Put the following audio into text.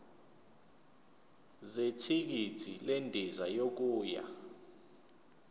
zethikithi lendiza yokuya